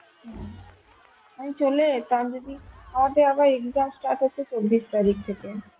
হম আমি চলে যেতাম যদি আমাদের আবার exam start হচ্ছে চব্বিশ তারিখ থেকে.